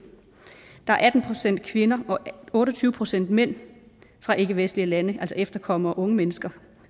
der er atten procent kvinder og otte og tyve procent mænd fra ikkevestlige lande altså efterkommere og unge mennesker